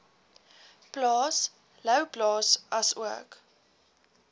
plaas louwplaas asook